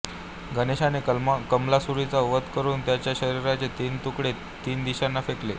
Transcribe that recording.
गणेशाने कमलासुराचा वध करून त्याच्या शरीराचे तीन तुकडे तीन दिशांना फेकले